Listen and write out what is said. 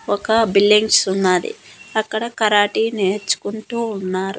ఒక బిల్డింగ్స్ ఉన్నాది అక్కడ కరాటి నేర్చుకుంటూ ఉన్నారు.